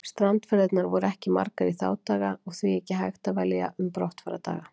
Strandferðirnar voru ekki margar í þá daga og því ekki hægt að velja um brottfarardaga.